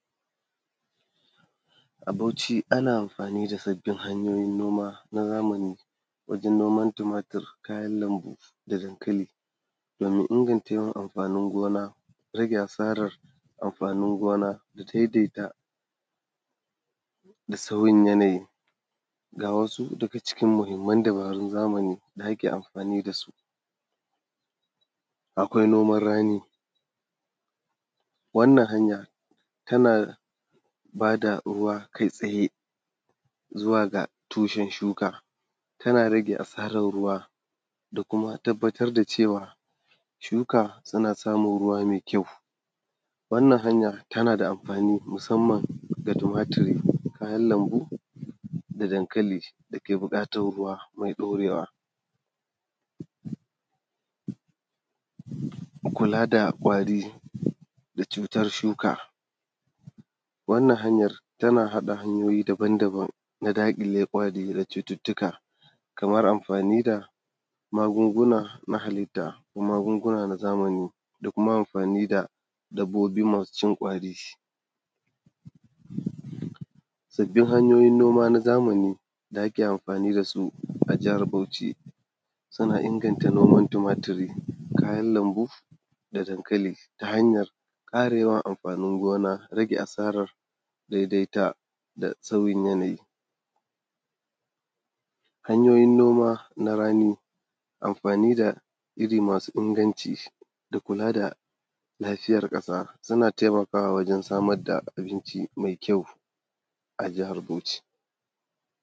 A Bauchi ana amfani da sabbin hanyoyin noma na zamani wajen noman tumatur, kayan lambu da kuma dankali domin inganta yawan amfanin gona, rage asarar amfanin gona da daidaita da sauyin yanayi. Ga wasu daga cikin mahimman dabarun zamani da ake amfani da su, akwai noman rani wannan hanya tana ba da ruwa kai tsaye zuwa ga tushen shuka tana rage asaran ruwa da kuma tabbatar da cewa shuka suna samun ruwa mai kyau. Wannan hanya tana da amfani musamman ga tumaturi, kayan lambu da dankali da ke buƙatan ruwa mai ɗaurewa, kula da kwari da cutar shuka wannan hanya tana haɗa hanyoyi daban-daban na daƙile kwari da cututtuka. Kaman amfani da magunguna na halitta ko magunguna na zamani da kuma amfani da dabbobi masu cin kwari da dai hanyoyin noma na zamani da ake amfani da su. A jihar Bauchi suna inganta noman tumaturi, kayan lambu da adnkali ta hanyar karewar amfanin gona, rage asara daidaita da sauyin yanayi, hanyoyin noma na rani, amfani da iri masu inganci, kula da lafiyar ƙasa suna taimakawa wajen samar da abinci mai kyau a jihar Bauchi.